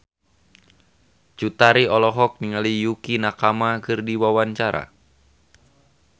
Cut Tari olohok ningali Yukie Nakama keur diwawancara